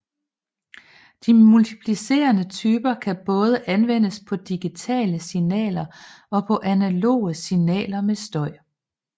De multiplicerende typer kan både anvendes på digitale signaler og på analoge signaler med støj